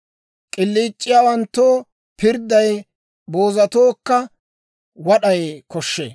K'iliic'iyaawanttoo pirdday, boozatookka wad'ay koshshee.